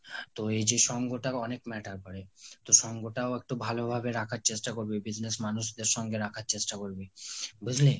তো এই যে সঙ্গটা অনেক matter করে। তো সঙ্গটাও একটু ভালোভাবে রাখার চেষ্টা করবি, business মানুষদের সঙ্গে রাখার চেষ্টা করবি। বুঝলি?